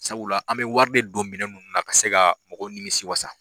Sabula an bɛ wari de don minɛ nunnu na ka se ka mɔgɔ nimi si wasa.